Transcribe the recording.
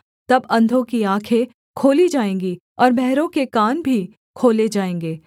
तब अंधों की आँखें खोली जाएँगी और बहरों के कान भी खोले जाएँगे